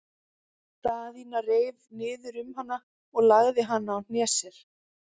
Daðína reif niður um hana og lagði hana á hné sér.